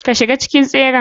Ka shiga cikin tseren.